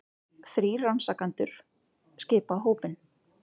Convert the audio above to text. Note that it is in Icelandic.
Þrír rannsakendur skipa hópinn